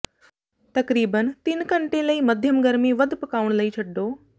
ਤਕਰੀਬਨ ਤਿੰਨ ਘੰਟੇ ਲਈ ਮਾਧਿਅਮ ਗਰਮੀ ਵੱਧ ਪਕਾਉਣ ਲਈ ਛੱਡੋ